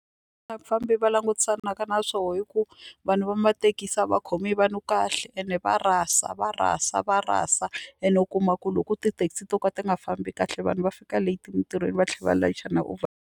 Vafambi va langutisanaka na swona i ku vanhu va mathekisi a va khomi vanhu kahle ene va rasa va rasa va rasa ene u kuma ku loko tithekisi to ka ti nga fambi kahle vanhu va fika leti emintirhweni va tlhela va layicha na .